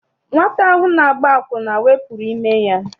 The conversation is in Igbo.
Nwata ahụ na-agba akwụna wepụrụ ime ya.